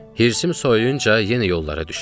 Hirsim soyuyunca yenə yollara düşdük.